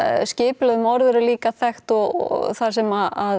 skipulögð morð eru líka þekkt og þar sem